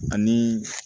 Ani